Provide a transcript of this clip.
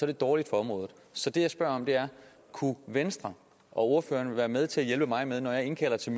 det dårligt for området så det jeg spørger om er kunne venstre og ordføreren være med til at hjælpe mig med når jeg indkalder til